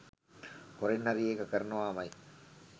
හොරෙන් හරි ඒක කරනවාමයි.